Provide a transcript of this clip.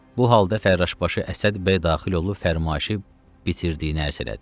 Bu halda Fərraşbaşı Əsəd bəy daxil olub fərmayışı bitirdiyini ərz elədi.